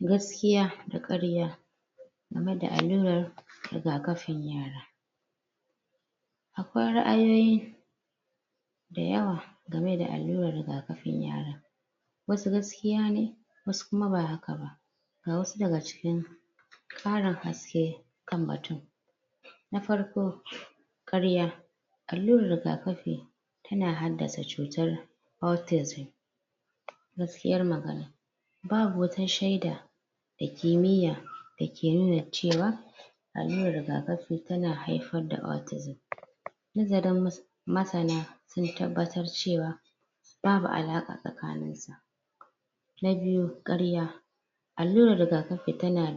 Gaskiya da ƙarya game da alluran raig-kafin yara akwai ra'ayoyi dayawa game da alluran riga-kafin yara wasu gaskiya ne wasu kuma ba haka ba ga wasu daga cikin ƙarin haske kan batun na farko ƙarya allurar jiga-kafi yana haddasa cutar autism gaskiyar magana babu wata shaida da kimiya dake nuna cewa allurar tana haifar da autism? masana sun tabbatar cewa babu alaƙa tsakanin sa na biyu, ƙarya allurar riga-kafi tana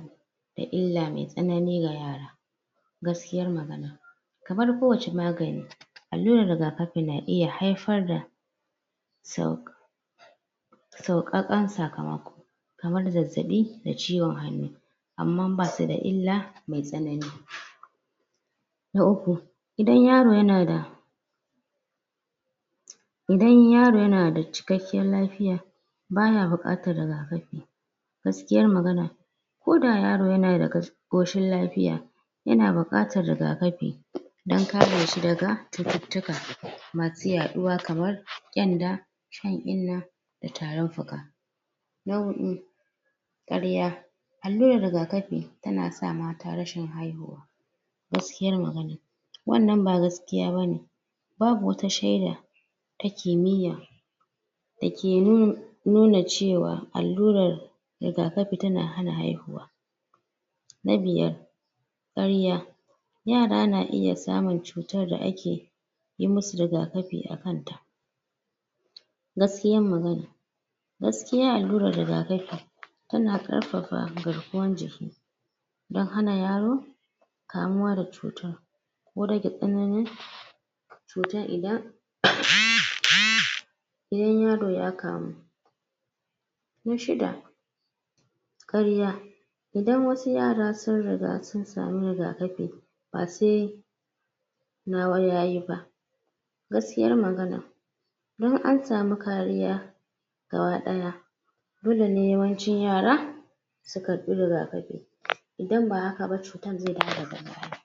da illa mai tsanani ga yara Gaskiyar magana kamar ko wace magani allurar riga-kafi na iya haifar da? sauƙaƙan sakamako kamar zazzaɓi da ciwon hannu amman basu da illa mai tsanani Na uku idan yaro yana da idan yaro yana da cikakken lafiya bana buƙatar riga-kafi gaskiyar magana koda yaro yana da ƙoshin lafiya yana buƙatar riga-kafi don kare shi daga cututtuka masu yaɗuwa kamar ƙyanda shan inna da tarin fuka na huɗu ƙarya allurar riga-kafi tana sa mata rashin haihuwa gaskiyar magana wannan ba gaskiya bane babu wata shaida ta kimiya da ke nuna cewa allurar riga-kafi tana hana haihuwa na biyar ƙarya yara na iya samun cutar da ake yi musu riga-kafi a kanta gaskiyan magana gaskiya allurar riga-kafi tana ƙarfafa garkuwan jiki don hana yaro kamuwa da cutar ko rage tsaninin cutar idan? idan yaro ya kamu Na shida ƙarya idan wasu yara sun riga sun samu riga-kafi, ba sai nawa yayi ba Gaskiyar magana don an samu kariya gaba ɗaya dole ne yawancin yara su karɓi riga-kafi idan ba haka ba cutar zai dawo daga baya